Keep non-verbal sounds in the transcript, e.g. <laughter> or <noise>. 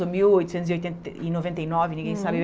mil oitocentos e oitenta <unintelligible> e noventa e nove, ninguém sabe.